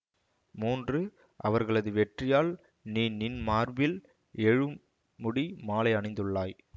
மூன்று அவர்களது வெற்றியால் நீ நின் மார்பில் எழும்முடி மாலை அணிந்துள்ளாய்